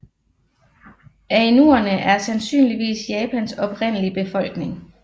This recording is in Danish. Ainuerne er sandsynligvis Japans oprindelige befolkning